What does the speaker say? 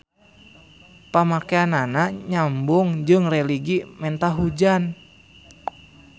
Pamakeanana nyambung jeung religi menta hujan.